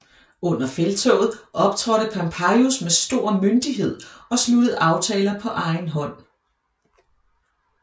Under felttoget optrådte Pompejus med stor myndighed og sluttede aftaler på egen hånd